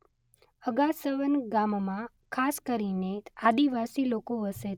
અગાસવન ગામમાં ખાસ કરીને આદિવાસી લોકો વસે.